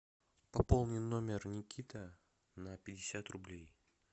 пополни номер никиты на пятьдесят рублей